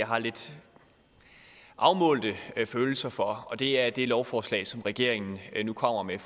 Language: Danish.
har lidt afmålte følelser for og det er det lovforslag som regeringen nu kommer med